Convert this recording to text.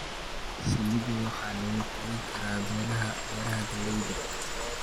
Shinnida waxaa lagu korin karaa beeraha galleyda.